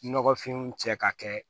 Nɔgɔfinw cɛ ka kɛ